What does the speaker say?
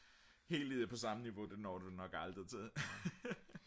helt på samme niveau det når du nok aldrig til